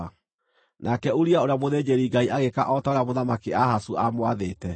Nake Uria ũrĩa mũthĩnjĩri-Ngai agĩĩka o ta ũrĩa Mũthamaki Ahazu aamwathĩte.